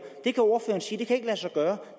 det kan ordføreren sige ikke kan lade sig gøre